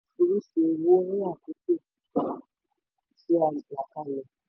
orísun owó ní àkókò tí a là kalẹ̀.